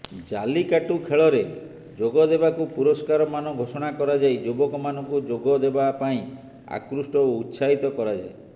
ଜାଲିକାଟୁ ଖେଳରେ ଯୋଗଦେବାକୁ ପୁରସ୍କାରମାନ ଘୋଷଣା କରାଯାଇ ଯୁବକମାନଙ୍କୁ ଯୋଗଦେବା ପାଇଁ ଆକୃଷ୍ଟ ଓ ଉତ୍ସାହିତ କରାଯାଏ